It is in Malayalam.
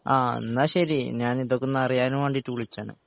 ആ എന്നാ ശെരി ഞാനിതൊക്കൊന്നു അറിയാൻ വേണ്ടിട്ട് വുളിച്ചതാ